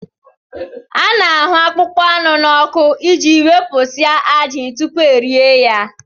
A na-ahụ akpụkpọ anụ n'ọkụ iji wepụsịa ajị tupu e rie ya